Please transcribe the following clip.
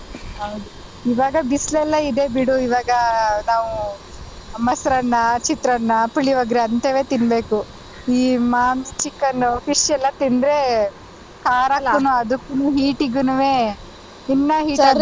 ಹೌದು ಇವಾಗ ಬಿಸ್ಲೆಲ್ಲ ಇದೆ ಬಿಡು ಇವಾಗ ನಾವು ಮೊಸರನ್ನ, ಚಿತ್ರಾನ್ನ, ಪುಳಿಯೋಗರೆ ಅಂತವೆ ತಿನ್ಬೇಕು ಈ ಮಾಂಸಾ chicken, fish ಎಲ್ಲ ತಿಂದ್ರೆ ಖಾರಕ್ಕುನು ಅದುಕ್ಕುನು heat ಗುನುವೇ ಇನ್ನ heat .